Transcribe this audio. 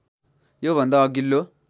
यो भन्दा अघिल्लो